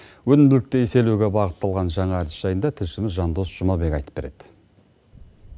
өнімділікті еселеуге бағыттылған жаңа әдіс жайында тілшіміз жандос жұмабек айтып береді